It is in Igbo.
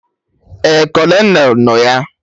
Ee, Kolonel nọ ya